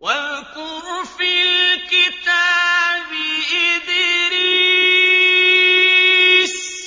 وَاذْكُرْ فِي الْكِتَابِ إِدْرِيسَ ۚ